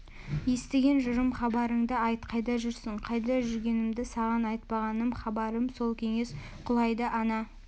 естіген жырым хабарыңды айт қайда жүрсің қайда жүргенімді саған айтпағаным хабарым сол кеңес құлайды ана